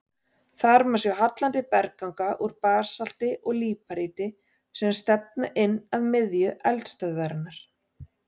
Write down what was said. Þar má sjá hallandi bergganga úr basalti og líparíti sem stefna inn að miðju eldstöðvarinnar.